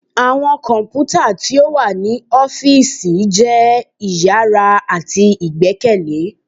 Awọn kọnputa ti o wa ni ọfiisi jẹ iyara ati igbẹkẹle.